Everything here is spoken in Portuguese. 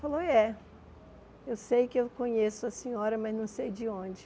Falou, é, eu sei que eu conheço a senhora, mas não sei de onde.